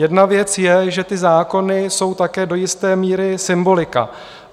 Jedna věc je, že ty zákony jsou také do jisté míry symbolika.